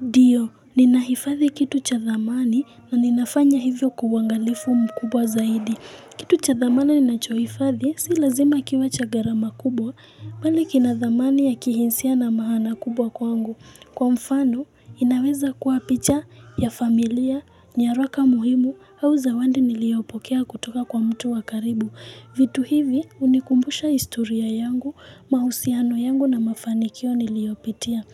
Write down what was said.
Ndio, ninahifadhi kitu cha dhamani na ninafanya hivyo kwa uwangalifu mkubwa zaidi. Kitu cha dhamana ninachohifadhi, si lazima kiwe cha gharama kubwa, bali kina dhamani ya kihinsia na maana kubwa kwangu. Kwa mfano, inaweza kua picha ya familia, nyaraka muhimu, au zawadi niliopokea kutoka kwa mtu wa karibu. Vitu hivi hunikumbusha historia yangu, mahusiano yangu na mafanikio niliopitia.